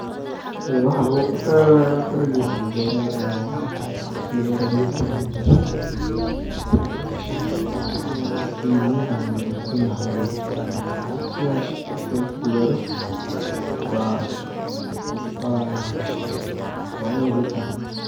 Waxa laguqato waxaweye dalagi oo labeerayo oo marki labeero biya lawaraawinayo oo in waqti biyaha lawalasiini lahaa uu gare waqtigas marku gaaro waa in lagurtaa.